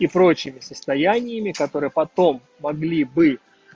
и прочими состояниями которые потом могли бы